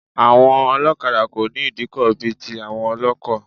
Àwọn ọlọ́kadà kò ní ìdíkọ̀ bí i tí àwọn ọlọ́kọ̀.